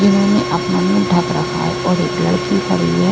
जीन्होंने अपना मुंह ढक रखा है और एक लड़की खड़ी है।